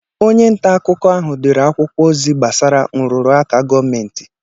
Onye nta akụkọ ahụ dere akwụkwọ ozi gbasara nrụ́rụ̀ aka gọọmentị